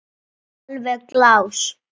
Alveg glás.